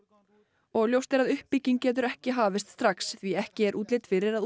og ljóst er að uppbygging getur ekki hafist strax því ekki er útlit fyrir að